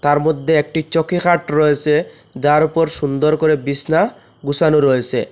আর মদ্যে একটি চৌকিখাট রয়েসে যার উপর সুন্দর করে বিসনা গুসানো রয়েসে।